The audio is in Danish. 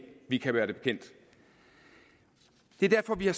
vi kan være bekendt det er derfor vi har